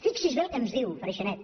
fixi’s bé el que ens diu freixanet